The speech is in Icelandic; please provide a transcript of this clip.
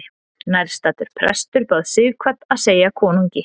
Nærstaddur prestur bað Sighvat að segja konungi.